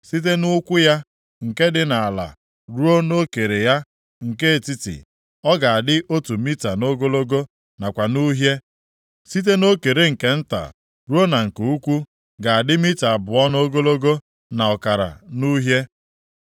Site nʼụkwụ ya nke dị nʼala ruo nʼokere ya nke etiti, ọ ga-adị otu mita nʼogologo nakwa nʼuhie; site nʼokere nke nta ruo na nke ukwu ga-adị mita abụọ nʼogologo na ọkara nʼuhie.